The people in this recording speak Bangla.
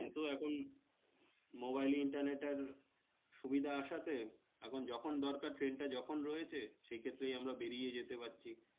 কিন্তু এখন মোবাইলে internet এর সুবিধা আসাতে, এখন যখন দরকার ট্রেনটা যখন রয়েছে সেক্ষেত্রেই আমরা বেরিয়ে যেতে পারছি।